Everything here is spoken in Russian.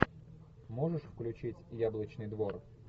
можешь включить яблочный двор